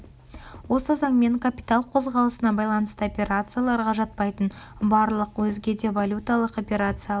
осы заңмен капитал қозғалысына байланысты операцияларға жатпайтын барлық өзге де валюталық операциялар